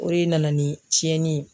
O de nana ni tiɲɛni ye.